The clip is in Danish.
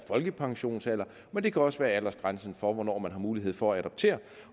folkepensionsalder men det kan også være aldersgrænsen for hvornår man har mulighed for at adoptere